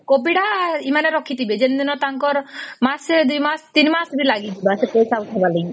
copy ତ ଏମାନେ ରଖିଥିବେ ଜେଡିନ ତାଙ୍କର ମାସେ ଦୁଇ ମାସ ତିନ ମାସ ବି ଲାଗିଯିବ ସେ ପଇସା ତ ଉଠେଇବାର ଲାଗି